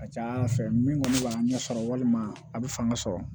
A ka ca ala fɛ min kɔni b'a ɲɛsɔrɔ walima a bɛ fanga sɔrɔ